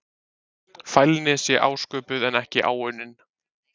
Fælni sé ásköpuð en ekki áunnin.